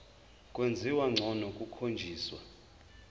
kwenziwa ngcono kukhonjiswa